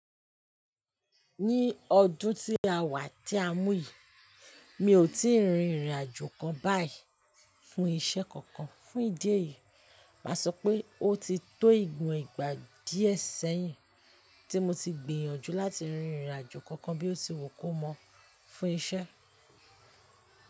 Ní ọdún tí a wà tí a mú yìí, mi ò tíì rin ìrìnàjò kan báyìí fún iṣẹ́ kankan. Fún ìdí èyí, mà sọ pé ó ti tó ìgún ìgbà díẹ̀ sẹ́yìn tí mo ti gbìyànjú láti rin ìrìnàjò kankan bí ó ti wù kó mọ́ fún iṣẹ́.